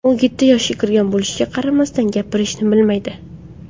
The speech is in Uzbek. U yetti yoshga kirgan bo‘lishiga qaramasdan, gapirishni bilmaydi.